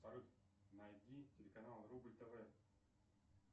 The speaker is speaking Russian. салют найди телеканал рубль тв